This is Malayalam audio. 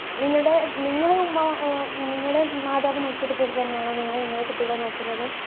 നിങ്ങടെ നിങ്ങളെ ഉമ്മ ആ ആ മാതാവ് നോക്കിയത് പോലെതന്നെയാണോ നിങ്ങളും നിങ്ങടെ കുട്ടികളെ നോക്കുന്നത്.